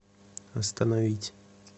остановить